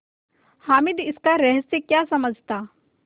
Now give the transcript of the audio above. हामिद इसका रहस्य क्या समझता